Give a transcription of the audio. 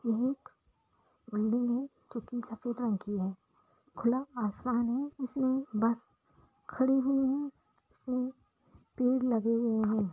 ये एक बिल्डिंग है जो की सफेद रंग की है खुला आसमान है इसमें बस खड़ी हुई है इसमें पेड़ लगे हुए है।